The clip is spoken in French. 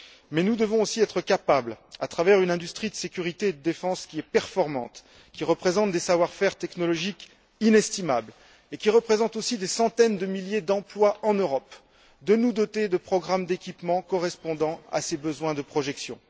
Mais nous devons aussi être capables, à travers une industrie de sécurité et de défense qui est performante, qui réunit des savoir faire technologiques inestimables et qui représente aussi des centaines de milliers d'emplois en Europe, de nous doter de programmes d'équipement correspondant à ces besoins de projection.